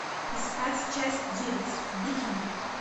искать часть девять викинги